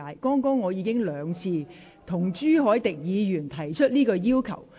我剛才亦已兩度向朱凱廸議員提出同樣要求。